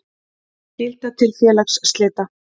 Skylda til félagsslita.